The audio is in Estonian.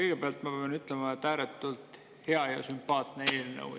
Kõigepealt ma pean ütlema, et ääretult hea ja sümpaatne eelnõu.